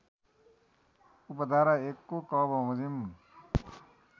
उपधारा १ को क बमोजिम